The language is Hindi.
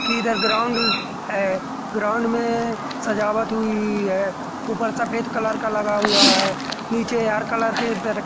किधर ग्राउंड है ग्राउंड में सजावट हुई है ऊपर सफेद कलर का लगा हुआ है नीचे हर कलर के रख--